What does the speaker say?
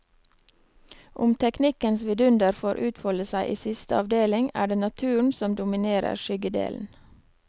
Om teknikkens vidunder får utfolde seg i siste avdeling, er det naturen som dominerer skyggedelen.